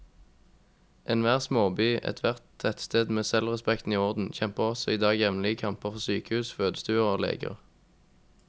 Enhver småby, ethvert tettsted med selvrespekten i orden, kjemper også i dag jevnlige kamper for sykehus, fødestuer og leger.